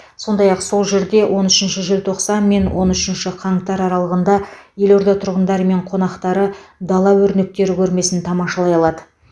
сондай ақ сол жерде он үшінші желтоқсан мен он үшінші қаңтар аралығында елорда тұрғындары мен қонақтары дала өрнектері көрмесін тамашалай алады